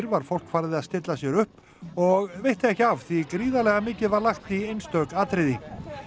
var fólk farið að stilla sér upp og veitti ekki af því gríðarlega mikið var lagt í einstök atriði